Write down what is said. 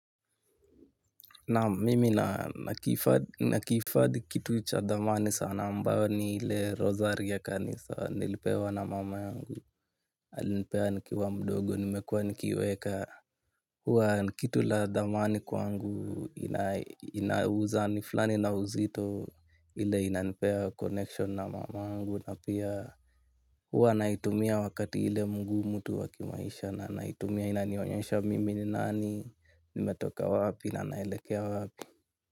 Naam mimi nakihifadhi kitu cha thamani sana ambao ni ile rozari ya kanisa nilipewa na mama yangu. Alinipea nikiwa mdogo nimekuwa nikiiweka. Huwa ni kitu la thamani kwangu inayouza ni fulani na uzito ile inanipea connection na mungu na pia. Huwa naitumia wakati ile mgumu tu wa kimaisha na naitumia inanionyesha mimi ni nani, nimetoka wapi na naelekea wapi.